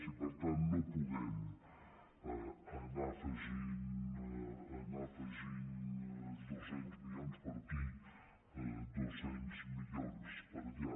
i per tant no podem anar afegint dos cents milions per aquí dos cents milions per allà